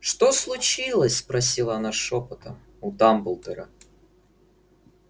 что случилось спросила она шёпотом у дамблдора